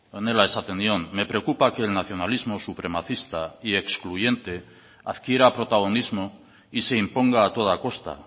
honela esaten nion me preocupa que el nacionalismo supremacista y excluyente adquiera protagonismo y se imponga a toda costa